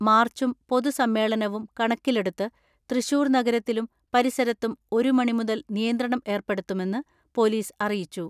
മാർച്ചും പൊതുസമ്മേളനവും കണക്കിലെടുത്ത് തൃശൂർ നഗരത്തിലും പരിസരത്തും ഒരു മണി മുതൽ നിയന്ത്രണം ഏർപ്പെടുത്തുമെന്ന് പൊലീസ് അറിയിച്ചു.